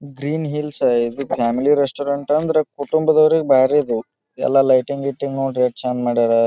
Green hills family restaurant ಅಂದ್ರ ಕುಟುಂಬ ದವರಿಗೆ ಭಾರಿ ಇದು. ಎಲ್ಲ ಲೈಟಿಂಗ್ ಗಿಟಿಂಗ್ ನೋಡ್ರಿ ಯೇಟ್ ಚಂದ್ ಮಾಡ್ಯಾರ.